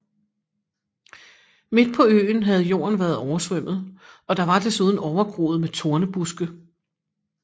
Midt på øen havde jorden været oversvømmet og der var desuden overgroet med tornebuske